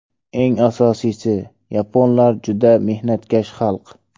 Eng asosiysi, yaponlar juda mehnatkash xalq.